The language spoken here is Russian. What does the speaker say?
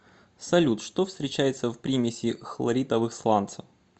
салют что встречается в примеси хлоритовых сланцев